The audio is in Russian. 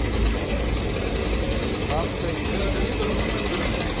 авто эксперт